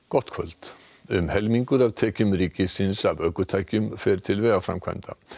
gott kvöld um helmingur af tekjum ríkisins af ökutækjum fer til vegaframkvæmda